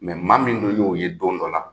maa min dun y'o ye don dɔ la